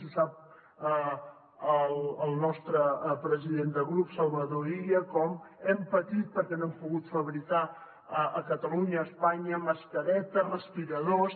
ho sap el nostre president de grup salvador illa com hem patit perquè no hem pogut fabricar a catalunya a espanya mascaretes respiradors